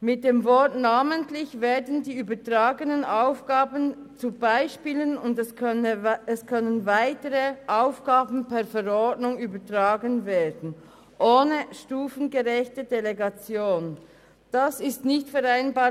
Mit dem Begriff «namentlich» werden die übertragenen Aufgaben zu Beispielen, und es können weitere Aufgaben per Verordnung ohne stufengerechte Delegation übertragen werden.